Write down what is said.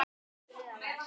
Þriðja vers.